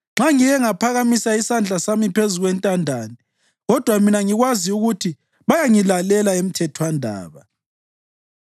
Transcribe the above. nxa ngike ngaphakamisa isandla sami phezu kwentandane, kodwa mina ngikwazi ukuthi bayangilalela emthethwandaba,